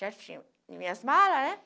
Já tinha minhas malas, né?